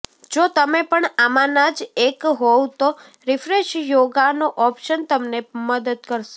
જો તમે પણ આમાંના જ એક હોવ તો રિફ્રેશ યોગાનો ઓપ્શન તમને મદદ કરશે